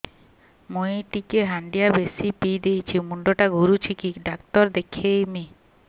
ମୁଇ ଟିକେ ହାଣ୍ଡିଆ ବେଶି ପିଇ ଦେଇଛି ମୁଣ୍ଡ ଟା ଘୁରୁଚି କି ଡାକ୍ତର ଦେଖେଇମି